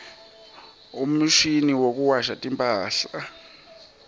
umshini wekuwasha timphahla